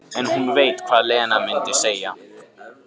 En hún veit hvað Lena mundi segja.